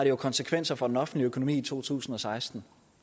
jo konsekvenser for den offentlige økonomi i to tusind og seksten